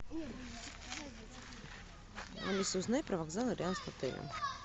алиса узнай про вокзалы рядом с отелем